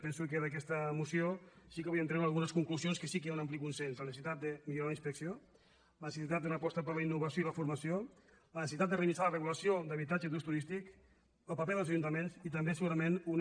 penso que d’aquesta moció sí que podríem treure algunes conclusions que sí que hi ha un ampli consens la necessitat de millorar la inspecció la ne·cessitat d’una aposta per la innovació i la formació la necessitat de revisar la regulació d’habitatges d’ús tu·rístic el paper dels ajuntaments i també segurament una